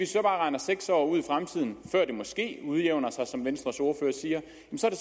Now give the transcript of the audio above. så regner seks år ud i fremtiden før det måske udjævner sig som venstres ordfører siger